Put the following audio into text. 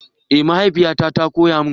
Eh mahaifiyata ta koya mun.